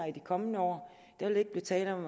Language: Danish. i de kommende år der vil ikke blive tale om